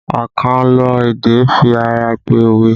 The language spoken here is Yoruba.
Akanlo èdè fi ara pẹ́ òwe